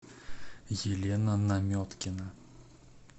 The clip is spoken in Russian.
елена наметкина